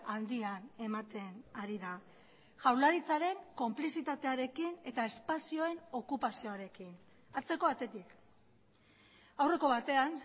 handian ematen ari da jaurlaritzaren konplizitatearekin eta espazioen okupazioarekin atzeko atetik aurreko batean